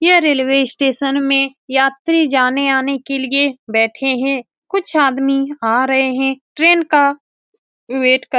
ये railway station में यात्री जाने आने के लिए बैठे है कुछ आदमी आ रहे है ट्रेन का वेट कर --